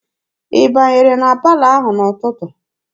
Ị banyere na palọ ahụ n'ụtụtụ?